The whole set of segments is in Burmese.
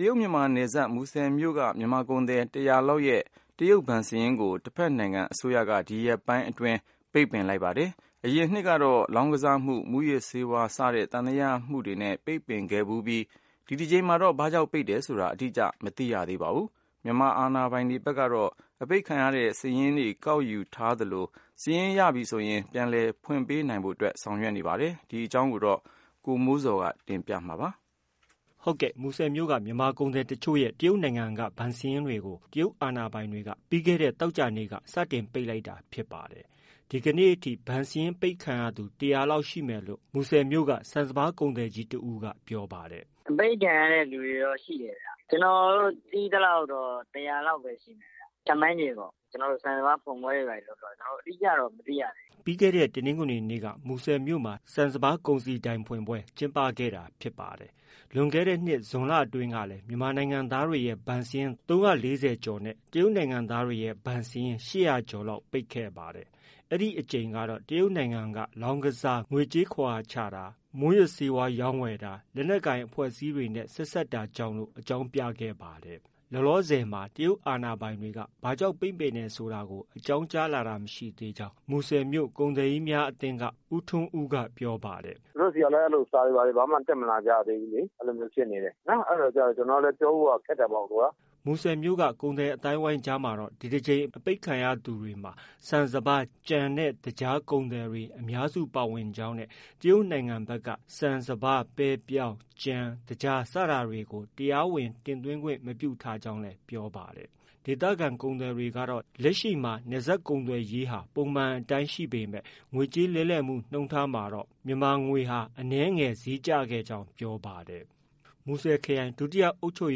တရုတ်မြန်မာနယ်စပ် မူဆယ်မြို့က မြန်မာကုန်သည် ၁၀၀လောက်ရဲ့ တရုတ်ဘဏ်စာရင်းကို တဖက်နိုင်ငံအစိုးရက ဲ ဒီရက်ပိုင်းအတွင်း ပိတ်ပင်လိုက်ပါတယ်။ အရင်နှစ်ကတော့ လောင်းကစား၊ မူးယစ်ဆေးဝါးစတဲ့ သံသယရှိမှုနဲ့ ပိတ်ပင်ခဲ့ဖူးပြီး ဒီတကြိမ်တော့ ဘာကြောင့်ပိတ်တယ်ဆိုတာ အတိအကျ မသိရသေးပါဘူး။ မြန်မာအာဏာပိုင်တွေဖက်ကတော့ အပိတ်ခံရတဲ့ စာရင်းကောက်ယူထားသလို စာရင်း ရပြီဆိုရင် ပြန်လည်ဖွင့်ပေးနိုင်ဖို့အတွက် ပြင်ဆင်ထားပါတယ်။ ဒီသတင်းကိုတော့ ဗွီအိုအေမြန်မာပိုင်းရဲ့သတင်းထောက် ကိုမိုးဇော်က တင်ပြထားပါတယ်။ မူဆယ်မြို့ မြန်မာကုန်သည်တချု့ိရဲ့ တရုတ်နိုင်ငံက ဘဏ်စာရင်းတွေကို တရုတ်အာဏာပိုင်တွေက ပြီးခဲ့တဲ့ သောကြာနေ့စတင်ပိတ်လိုက်တာဖြစ်ပါတယ်။ ဒီနေ့ အထိ ဘဏ်စာရင်း အပိတ်ခံရသူ ၁၀၀လောက်ရှိမယ်လို့လည်း မူဆယ်မြို့က ဆန်စပါးကုန်သည်ကြီး တဦးက ပြောပါတယ်။ “ အပိတ်ခံရတဲ့သူတွေတော့ ရှိတယ်ဗျ။ ကျနော်တို့ သိသလောက်တော့ ၁၀၀လောက်ပဲ ရှိတယ်ဗျ။ ခန့်မှန်းခြေပေါ့။ကျနော်တို့ ဆန်စပါးဖွင့်ပွဲတွေ ဘာတွေ လုပ်တော့ အတိအကျတော့ မသိရသေးဘူး။ ” ပြီးခဲ့တဲ့ တနင်္ဂနွေနေ့က မူဆယ်မြို့မှာ ဆန်စပါးကုန်စည်ဒိုင်ဖွင့်ပွဲကျင်းပခဲ့တာဖြစ်ပါတယ်။ လွန်ခဲ့တဲ့နှစ် ဇွန်လအတွင်းကလည်း မြန်မာနိုင်ငံသားတွေရဲ့ ဘဏ်စာရင်း ၃၄၀ကျော်နဲ့ တရုတ် နိုင်ငံသားတွေရဲ့ ဘဏ်စာရင်း ၈၀၀ကျော်လောက်ပိတ်ခဲ့ပါတယ်။ အဲဒီအကြိမ်ကတော့ တရုတ်အစိုးရက လောင်းကစားတာ၊ ငွေကြေးခဝါချတာ၊မူးယစ်ဆေးဝါးရောင်းဝယ်တာ၊ လက်နက်ကိုင် အဖွဲ့အစည်းတွေနဲ့ဆက်စပ်တာကြောင့်လို့ အကြောင်းပြခဲ့ပါတယ်။ လောလောဆည်မှာ တရုတ်အာဏာပိုင်တွေက ဘာကြောင့် ပိတ်တယ်ဆိုတာကို အကြောင်းကြားတာ မရှိသေးကြောင်း မူဆယ်မြို့က ကုန်သည်ကြီးများ အသင်းက ဦးထွန်းဦးက ပြောပါတယ်။ “သူတို့ဆီကလည်း စာတွေ ဘာတွေ ဘာမှ တက်လာတာမရှိသေးဘူးလေ။ အဲလိုမျိုးဖြစ်နေတယ်။ အဲဒါကျ ကျနော်ကလည်း ပြောဖို့က ခက်တာပေါ့။ ” မူဆယ်မြို့က ကုန်သည်အသိုင်းအဝိုင်းအကြားမှာတော့ ဒီတကြိမ်အပိတ်ခံရသူတွေမှာ ဆန်စပါး၊ ကြံ၊သကြား ကုန်သည်တွေအများစုပါဝင်ကြောင်းနဲ့ တရုတ်နိုင်ငံဖက်က ဆန်စပါး၊ ပဲ၊ ပြောင်း၊ ကြံ၊ သကြားစတာတွေကို တရားဝင်တင်သွင်းခွင့် မပြုထားကြောင်းလည်းပြောပါတယ်။ ဒေသခံ ကုန်သည်တွေကတော့ လက်ရှိအခြေအနေမှာ နယ်စပ်ကုန်သွယ်ရေးကို ပုံမှန်အတိုင်း ရှိနေပေမဲ့ ငွေကြေးလဲလှယ်မှုနှုန်းထားမှာတော့ မြန်မာငွေအနည်းငယ်ဈေးကျခဲ့ကြောင်း ပြောပါတယ်။ မူဆယ်ခရိုင် ဒုတိယအုပ်ချုပ်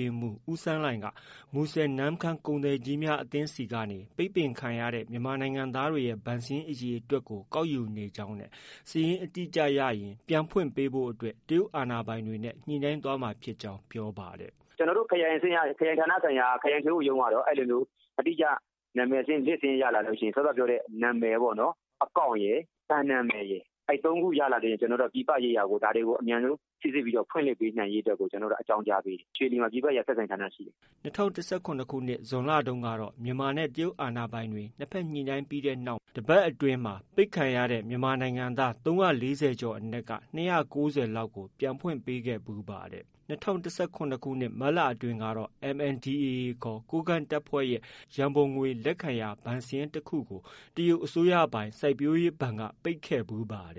ရေးမှုး ဦးစန်းလှိုင်က မူဆယ်-နမ့်ခမ်း ကုန်သည်ကြီးများ အသင်းဆီကနေ ပိတ်ပင်ခံရတဲ့ မြန်မာပြည်သားတွေရဲ့ ဘဏ်စာရင်းအရေအတွက်ကို ကောက်ယူနေကြောင်းနဲ့ စာရင်းအတိအကျရရင် ပြန်ဖွင့်ပေးဖိ့ုအတွက် တရုတ်အာဏာပိုင်တွေနဲ့ ညှိနှိုင်းသွားမှာဖြစ်ကြောင်း ပြောပါတယ်။ “ကျနော်တို့ ခရိုင်ဌာနဆိုင်ရာ ခရိုင်ထွေအုပ်ရုံးကတော့ အဲလိုမျိုး အတိအကျ နံမည်စာရင်း List စာရင်း ရလာလို့ ရှိရင် စောစောက ပြောတဲ့ နံမည်ပေ့ါ။ account ရယ်၊ ဘဏ်နံမည်ရယ် အဲဒီ ၃ခုရလာလို့ ရှိရင် ကျနော်တို့က ပြည်ပရေးရာကို ဒါတွေကို အမြန်ဆုံးစိစစ်ပြီး ဖွင့်လှစ်ပေးနိုင်ရေးကို ကျနော်တို့က အကြောင်းကြားပေးတယ်။ ရွှေလီမှာ ပြည်ပရေးရာဆက်ဆံရေးဌာနရှိတယ်။” ၂၀၁၇ခုနှစ် ဇွန်လတုံးကတော့ မြန်မာနဲ့ တရုတ်အာဏာပိုင်တွေ ၂ဖက်ညှိနှိုင်းပြီးတဲ့နောက် တပတ်အတွင်းမှာ ပိတ်ခံရတဲ့ မြန်မာနိုင်ငံသား ၃၄၀ကျော်အနက်က ၂၉၀လောက်ကို ပြန်ဖွင့်ပေးခဲ့ဖူးပါတယ်။ ၂၀၁၇ မတ်လအတွင်းကတော့ MNDAA ခေါ် ကိုးကန့်တပ်ဖွဲ့ရဲ့ ရန်ပုံငွေလက်ခံရာ ဘဏ်စာရင်းတခုကို တရုတ်အစိုးရပိုင် စိုက်ပျိုးရေးဘဏ်က ပိတ်ခဲ့ဖူးပါတ